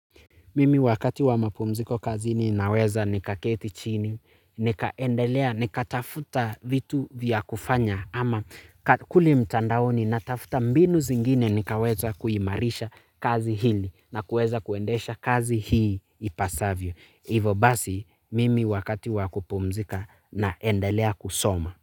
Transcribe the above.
Mimi wakati wa mapumziko kazi ninaweza nikaketi chini, nikaendelea, nikatafuta vitu vya kufanya ama kuli mtandaoni natafuta mbinu zingine nikaweza kuimarisha kazi hili na kueza kuendesha kazi hii ipasavyo. Hivo basi, mimi wakati wa kupumzika naendelea kusoma.